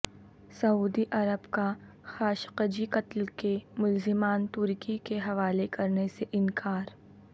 سعودی عرب کا خاشقجی قتل کے ملزمان ترکی کے حوالے کرنے سے انکار